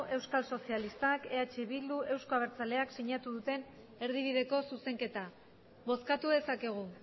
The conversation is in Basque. euskal sozialistak eh bildu eta euzko abertzaleak sinatu duten erdibideko zuzenketa bozkatu dezakegu